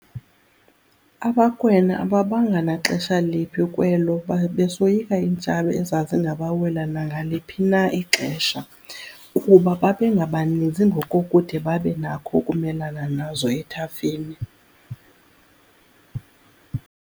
AbaKwena ababanga naxesha liphi bekwelo besoyika iintshaba ezazingabawelayo nangaliphi na ixesha, kuba babengebaninzi ngokokude babe nakho ukumelana nazo ethafeni.